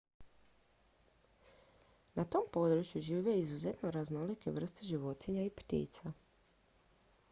na tom području žive izuzetno raznolike vrste životinja i ptica